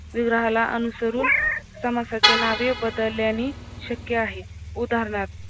विग्रहाला अनुसरून समासाचे नावे बदल्याने शक्य आहे उदानहार्थ